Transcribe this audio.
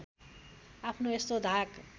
आफ्नो यस्तो धाक